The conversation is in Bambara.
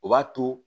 O b'a to